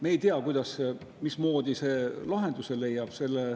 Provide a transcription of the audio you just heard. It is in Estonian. Me ei tea, mismoodi see lahenduse leiab.